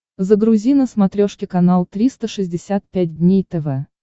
загрузи на смотрешке канал триста шестьдесят пять дней тв